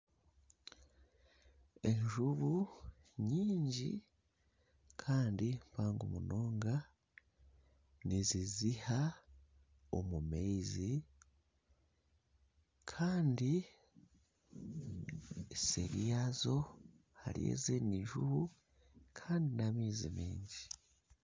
Enjubu nyingi kandi mpango munonga niziziha omu maizi kandi seri yazo hariyo ezindi njubu Kandi na amaizi mingi.